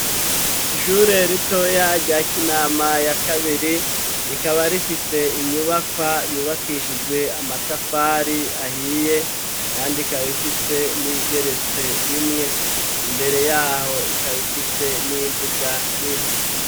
Ishure ritoya rya Kinama ya kabiri rikaba rifise inyubakwa yubakishijwe amatafari ahiye kandi ikaba ifise n'iyigeretse rimwe imbere yaho ikaba ifise n'imbuga nini.